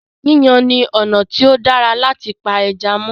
Yíyan ni ọ̀nà tí o dára láti pa ẹja mó.